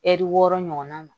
Ɛri wɔɔrɔ ɲɔgɔn na